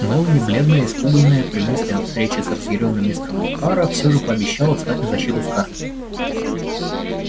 мелани бледная испуганная при мысли о встрече с разъярённым мистером охара все же пообещала встать на защиту скарлетт